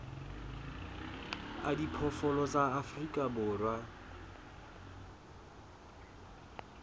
a diphoofolo tsa afrika borwa